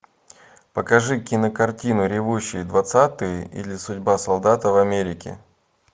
покажи кинокартину ревущие двадцатые или судьба солдата в америке